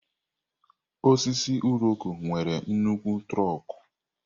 Osisi Iroko nwere nnukwu trọkú.